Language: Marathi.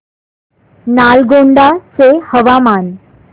नालगोंडा चे हवामान